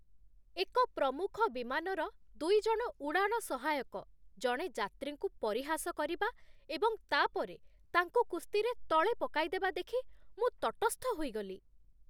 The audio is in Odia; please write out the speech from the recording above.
ଏକ ପ୍ରମୁଖ ବିମାନର ଦୁଇ ଜଣ ଉଡ଼ାଣ ସହାୟକ ଜଣେ ଯାତ୍ରୀଙ୍କୁ ପରିହାସ କରିବା ଏବଂ ତା'ପରେ ତାଙ୍କୁ କୁସ୍ତିରେ ତଳେ ପକାଇଦେବା ଦେଖି ମୁଁ ତଟସ୍ଥ ହୋଇଗଲି।